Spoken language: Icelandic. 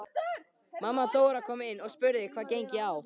Mamma Dóra kom inn og spurði hvað gengi á.